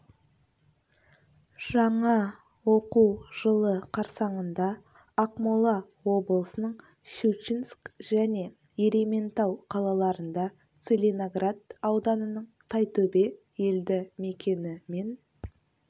жаңа оқу жылы қарсаңында ақмола облысының щучинск және ерейментау қалаларында целиноград ауданының тайтөбе елді мекені мен